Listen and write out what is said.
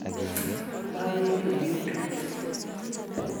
Mewendi olindo